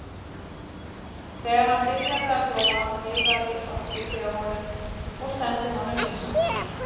Þegar hann byrjaði að glóa veifaði Orkídea honum og sendi honum fingurkoss.